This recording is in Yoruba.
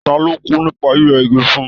Ta ló kú nípa yíyẹ igi fún?